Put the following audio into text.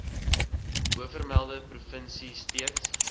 bovermelde provinsie steeds